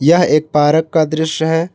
यह एक पार्क का दृश्य है।